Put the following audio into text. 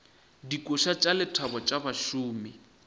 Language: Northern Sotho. dikoša tša lethabo tša bašomi